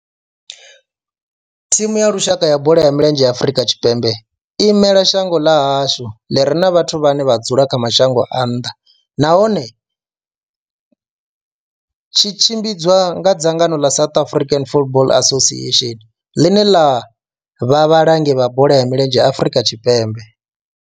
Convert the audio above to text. Thimu ya lushaka ya bola ya milenzhe ya Afrika Tshipembe i imela shango ḽa hashu ḽi re na vhathu vhane vha dzula kha mashango a nnḓa nahone tshi tshimbidzwa nga dzangano ḽa South African Football Association, ḽine ḽa vha vhalangi vha bola ya milenzhe Afrika Tshipembe.